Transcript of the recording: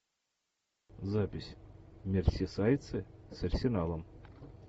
запись мерсисайдцы с арсеналом